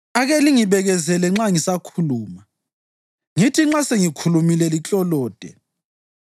Ake lingibekezelele nxa ngisakhuluma, ngithi nxa sengikhulumile liklolode.